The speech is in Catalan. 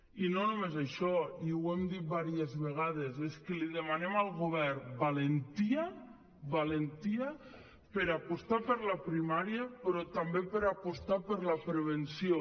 i no només això i ho hem dit diverses vegades és que demanem al govern valentia valentia per apostar per la primària però també per apostar per la prevenció